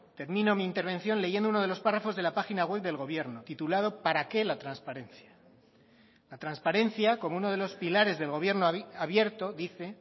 termino mi intervención leyendo uno de los párrafos de la página web del gobierno titulado para qué la transparencia la transparencia como uno de los pilares del gobierno abierto dice